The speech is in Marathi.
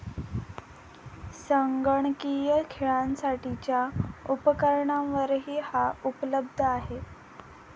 संगणकीय खेळांसाठीच्या उपकरणांवरही हा उपलब्ध आहे.